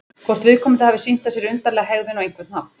Hvort viðkomandi hefði sýnt af sér undarlega hegðun á einhvern hátt?